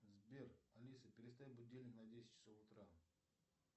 сбер алиса переставь будильник на десять часов утра